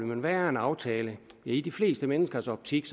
men hvad er en aftale i de fleste menneskers optik